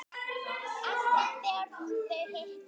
Alltaf þegar þau hittast